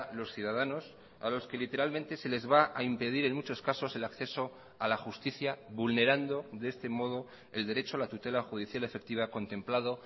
los ciudadanos a los que literalmente se les va a impedir en muchos casos el acceso a la justicia vulnerando de este modo el derecho a la tutela judicial efectiva contemplado